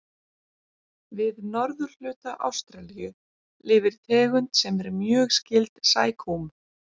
Við norðurhluta Ástralíu lifir tegund sem er mjög skyld sækúm.